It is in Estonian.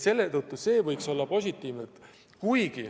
See võiks olla väga positiivne.